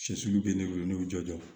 Sɛsiw bɛ ne bolo ne y'u jɔ